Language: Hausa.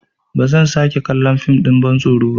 Ba zan sake kallon fim ɗin bantsoro ba.